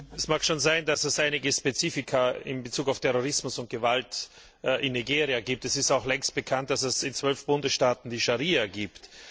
Es mag schon sein, dass es einige Spezifika in Bezug auf Terrorismus und Gewalt in Nigeria gibt. Es ist auch längst bekannt, dass es in zwölf Bundesstaaten die Scharia gibt.